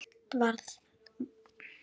Allt var hægt að laga.